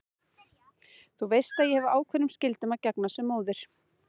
Þú veist að ég hef ákveðnum skyldum að gegna sem móðir.